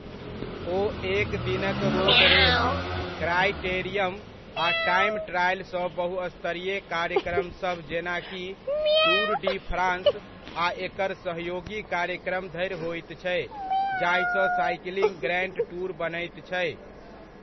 ओ एक दिनक road race, criterium आ टाइम ट्रायल सँ बहुस्तरीय कार्यक्रमसभ जेनाकि टूर डी फ्रान्स आ एकर सहयोगी कार्यक्रम धरि होइत छै, जाहिसँ साइकिलिंगक ग्रैण्ड टूर बनैत छै।